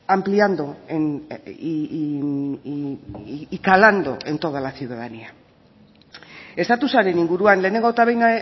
ampliando y calando en toda la ciudadanía estatusaren inguruan lehenengo eta behin